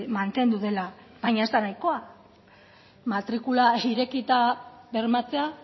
mantendu dela baina ez da nahikoa matrikula irekita bermatzea